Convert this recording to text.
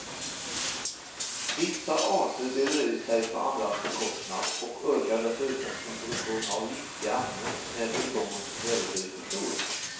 Vissa arter breder ut sig på andras bekostnad och ökar dessutom sin produktion av giftiga ämnen när tillgången på kväve blir för stor.